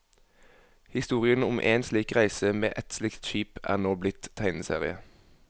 Historien om én slik reise med ett slikt skip er nå blitt tegneserie.